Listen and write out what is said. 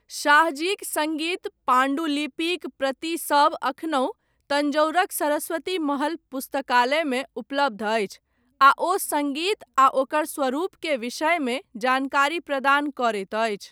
शाहजीक सङ्गीत पाण्डुलिपिक प्रतिसभ एखनहु तन्जौरक सरस्वती महल पुस्तकालयमे उपलब्ध अछि आ ओ सङ्गीत आ ओकर स्वरूप के विषयमे जानकारी प्रदान करैत अछि।